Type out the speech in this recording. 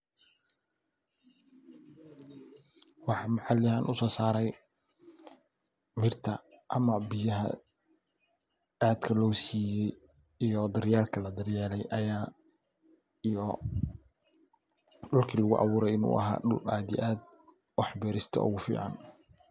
Waxan maxallihan aad usoosarey birta ama biyaha aadka loosiyey iyo daryyelka ladaryeele iyo dulka laguabuurey inuu ahaa dul aad iyo aad waxbeerista ugufican.